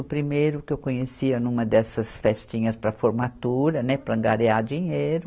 O primeiro que eu conhecia numa dessas festinhas para formatura, né, para angariar dinheiro.